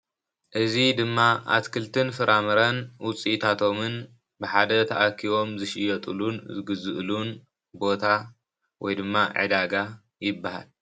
እዚ ድማ እትክልትን ፍረምረን ውፂኢታቶም ብሓደ ተኣኪቦም ዝሽየጥሉን ዝግዝኡሉን ቦታ ወይ ድማ ዕዳጋ ይበሃል::